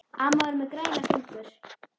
Amma var með græna fingur.